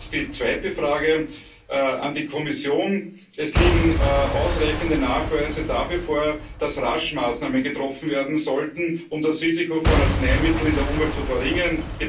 Die zweite Frage an die Kommission Es liegen ausreichende Nachweise dafür vor, dass rasch Maßnahmen getroffen werden sollten, um das Risiko von Arzneimitteln in der Umwelt zu verringern.